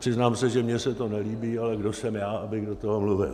Přiznám se, že mně se to nelíbí, ale kdo jsem já, abych do toho mluvil.